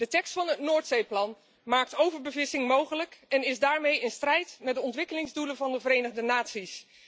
De tekst van het Noordzeeplan maakt overbevissing mogelijk en is daarmee in strijd met de ontwikkelingsdoelen van de Verenigde Naties.